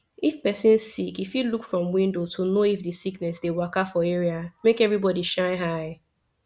if person sick e fit look from window to know if the sickness dey waka for area make everybody shine eye